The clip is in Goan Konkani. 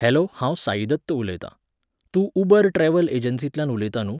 हॅलो हांव साइदत्त उलयतां. तूं उबर ट्रॅव्हल एजंसींतल्यान उलयता न्हूं?